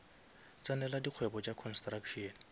tsenela dikgwebo tša construction